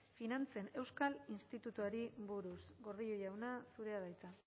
finantzen euskal institutuari buruz gordillo jauna zurea da hitza